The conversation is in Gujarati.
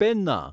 પેન્ના